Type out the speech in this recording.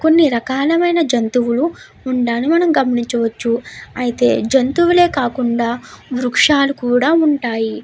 కొన్ని రకాల ఆయన జంతువులు మనం గమనింవ్హాయవచ్చు. ఇంకా చాలా రకాల చెట్లు కూడా ఉంటాయి.